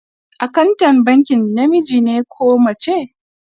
Akantan bankin namiji ne ko mace?